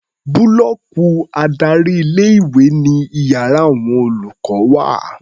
Búlọ́ọ̀kì adárí ilé-ìwé ni iyàrá àwon olùkọ́ wà.